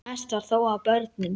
Mest var þó af börnum.